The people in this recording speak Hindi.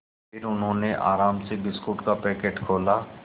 फिर उन्होंने आराम से बिस्कुट का पैकेट खोला